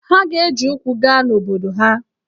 Ha ga-eji ụkwụ gaa n’obodo ha.